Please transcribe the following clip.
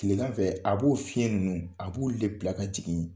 Tilegan fɛ, a b'o fiɲɛ ninnu, a b'olu le bila ka jigin